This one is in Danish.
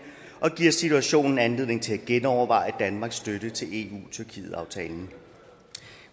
og giver situationen anledning til at genoverveje danmarks støtte til eu tyrkiet aftalen